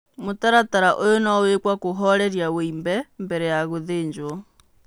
Mũtaratara ũyũ no wĩkũo kũhoreria wimbe mbere ya gũthĩnjwo.